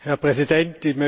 Herr Präsident!